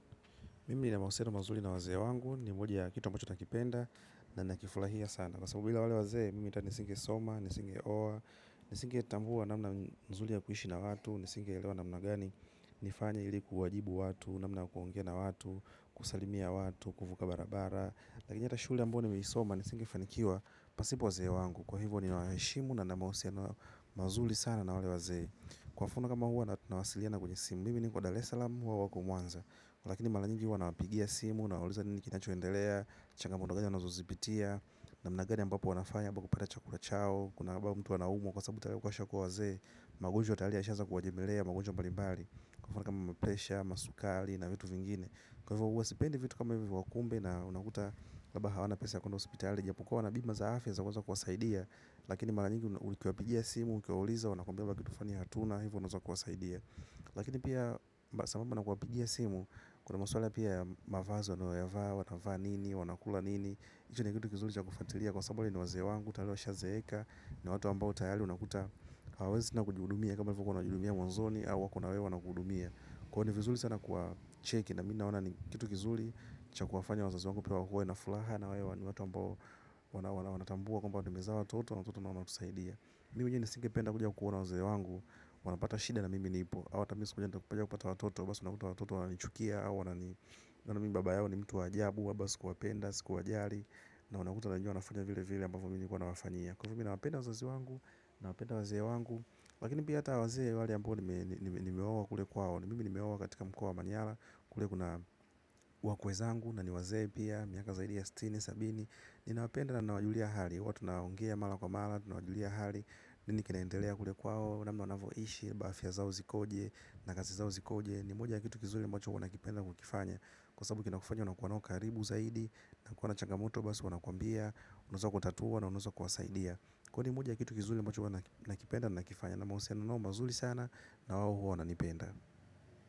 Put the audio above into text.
Mimi nina mahusiano mazuri na wazee wangu ni moja ya kitu ambacho nakipenda na nakifurahia sana. Kwa sababu bila wazee, mimi hata nisingesoma, nisingeoa, nisingetambua namna nzuri ya kuishi na watu, nisingelewa namna gani nifanye ili kuwajibu watu, namna ya kuongea na watu, kusalimia watu, kuvuka barabara. Lakini hata shule ambao nimeisoma, nisingefanikiwa pasipo wazee wangu. Kwa hivyo ninawaheshimu na nina mahusiano mazuri sana na wale wazee. Kwa mfano kama huwa na tunawasiliana kwenye simu, mimi niko Dar es Salaam wao wako. Mwanza. Kwa lakini mara nyingi huwa nawapigia simu, nawauliza nini kinachoendelea, changamoto gani wanazozipitia namna gani ambapo wanafanya kupa kupata chakula chao, kuna ambapo mtu wanaumu kwa sababu tala kwa shakuwa waze magunju wa talia ishaza kuwa jemilea, magunju wa balibali kufana kama mpesha, masukali na vitu vingine kwa hivyo uwasipendi vitu kama hivyo wakumbe na unakuta wabaha wana pesa ya kuenda hospitali japukua wana bima zaafya zakuwa za kuwasaidia lakini mara nyingi ukiwapijia simu ukiwauliza, wanakombiwa wakitufani hatuna hivyo unazaa kuwasaidia lakini pia sababu na kuwapia simu kuna maswala pia ya mavazi wanayo vaa wanavaa nini na mi na naona ni vizuri kuwahudumia. Cha kuwafanya wazazi wangu piwa wakue na fulaha na we wanu watu ambao wanatambua Kamba wadumizawa toto na toto na wana kusaidia. Mimu njini singe penda kuja kuona waze wangu. Wanapata shide na mimi nipo awata misukuja nta kupaja kupata watoto. Basi wanakuta watoto wanachukia. Wana nini baba yao ni mtu wajabu. Basi kuwapenda, siku wajari. Na wanakuta wanajua nafanya vile vile ambavo minikuwa na wafanyia. Kufumi na wapenda wazazi wangu. Na wapenda wazee wangu. Lakini piyata wazee wali ambu ni mewawa kule kwao. Mimimi ni mewawa katika mkua wa manyala. Kule kuna wakweza angu. Na niwaze pia, miaka zaidi ya sitini, sabini. Nina wapenda na wajulia hali. Watu naongea mala kwa mala, tunawajulia hali. Nini kenaendelea kule kwao, namna wanavoishi, bafya zao zikoje, nakazi zao zikoje. Nimuja ya kitu kizuli mocho wana kipenda kukifanya. Kwa sabu kinakufanya unakuwa nao karibu zaidi, nakuwa na changamoto basi wanakuambia. Unuza kutatua na unuza kwasaidia. Kuwa nimoja ya kitu kizuli mocho wana kipenda na nakifanya. Na mausiano nao mazuli sana na wao wana nipenda.